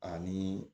Ani